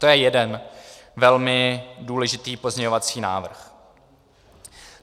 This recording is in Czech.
To je jeden velmi důležitý pozměňovací návrh.